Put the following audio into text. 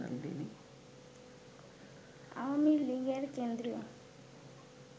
আওয়ামী লীগের কেন্দ্রীয়